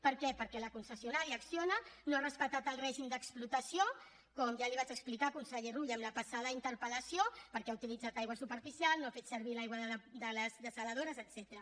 per què perquè la concessionària acciona no ha respectat el règim d’explotació com ja li vaig explicar conseller rull en la passada interpel·lació perquè ha utilitzat aigua superficial no ha fet servir l’aigua de les dessaladores etcètera